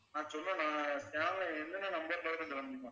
நான் சொன்ன channel என்னென்ன number ல வரும்ன்னு சொல்ல முடியுமா